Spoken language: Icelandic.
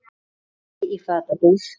Auddi í fatabúð